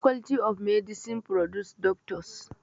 Faculty of medicine produces Doctors.